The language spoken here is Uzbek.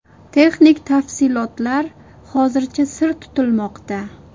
Texnik tafsilotlar hozircha sir tutilmoqda.